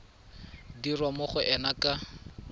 dirwa mo go ena ka